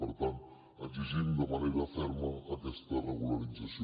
per tant exigim de manera ferma aquesta regularització